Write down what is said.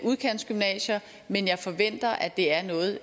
udkantsgymnasier men jeg forventer at det er noget